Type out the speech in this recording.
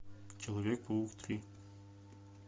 человек паук три